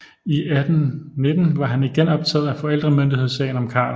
I 1819 var han igen optaget af forældremyndighedssagen om Karl